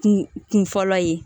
Kun kun fɔlɔ ye